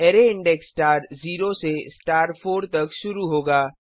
array index star 0 से star 4 तक शुरू होगा